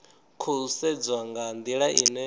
khou sedzwa nga ndila ine